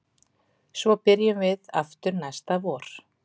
Svo byrjum við aftur næsta vor